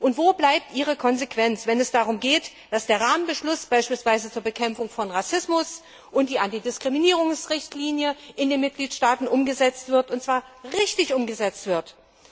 Und wo bleibt ihre Konsequenz, wenn es darum geht, dass der beispielsweise Rahmenbeschluss zur Bekämpfung von Rassismus und die Antidiskriminierungsrichtlinie in den Mitgliedstaaten umgesetzt werden und zwar richtig umgesetzt werden?